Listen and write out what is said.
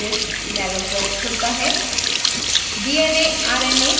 insert nucleic acids dialog box खुलता है